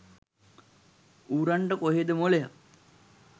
ඌරන්ට කොහේද මොලයක්